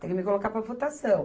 Tem que me colocar para votação.